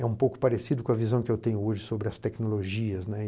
É um pouco parecido com a visão que eu tenho hoje sobre as tecnologias, né.